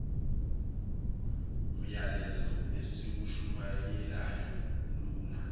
myalezo esiwushumayelayo ulula